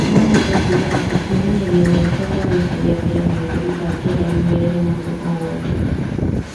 Nohote kuga atĩ kwĩmenyeria gwakwa gwa gũcaria wĩra nĩ ũndũ itangĩenda riumĩrĩre mũndũ o wothe